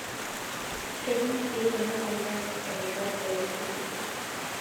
Kejing' sii ina moyian erubata ooltuli.